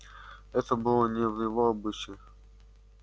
это было не в его обычае